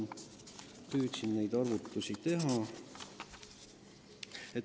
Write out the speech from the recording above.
Ma püüdsin neid arvutusi teha.